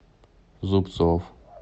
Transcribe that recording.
зубцов